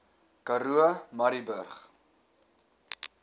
karoo murrayburg